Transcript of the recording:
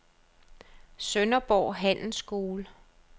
Sønderborg Handelsskole